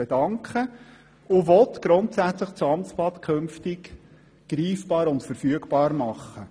Sie will grundsätzlich das Amtsblatt künftig greifbar und verfügbar machen.